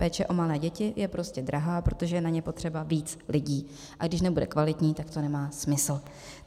Péče o malé děti je prostě drahá, protože je na ně potřeba víc lidí, a když nebude kvalitní, tak to nemá smysl.